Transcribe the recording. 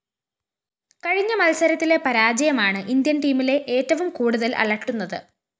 കഴിഞ്ഞ മത്സരത്തിലെ പരാജയമാണ് ഇന്ത്യന്‍ ടീമിലെ ഏറ്റവും കൂടുതല്‍ അലട്ടുന്നത്